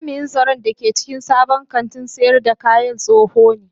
Jami'in tsaron da ke cikin sabon kantin sayar da kayadin tsoho ne